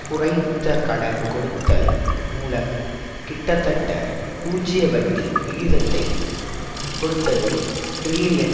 குறைத்த கடன் கொடுத்தல் மூலம் கிட்டத்தட்ட பூஜ்ய வட்டி விகிதத்தை கொடுத்ததில் டிரில்லியன்